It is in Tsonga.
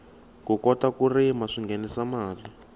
ku kota ku rima swinghenisa mali